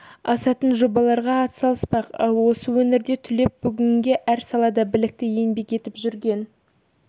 асатын жобаларға ат салыспақ ал осы өңірден түлеп бүгінде әр салада білікті еңбек етіп жүрген